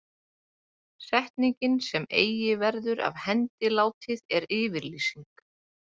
Setningin sem eigi verður af hendi látið er yfirlýsing.